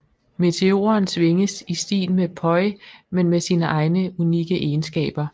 Meteoren svinges i stil med poi men med sine egne unikke egenskaber